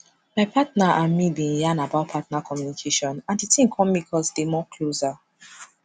my partner and me been yan about partner communication and the thing come make us dey more closer